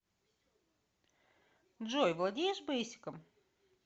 джой владеешь бейсиком